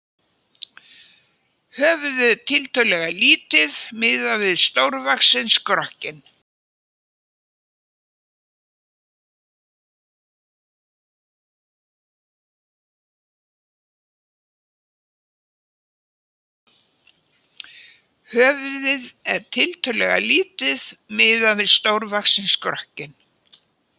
Höfuðið er tiltölulega lítið miðað við stórvaxinn skrokkinn.